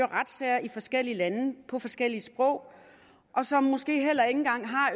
retssager i forskellige lande på forskellige sprog og som måske heller ikke engang har